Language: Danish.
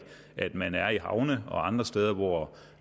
at man er på havnene og andre steder hvor